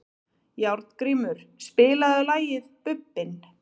Járngrímur, spilaðu lagið „Bubbinn“.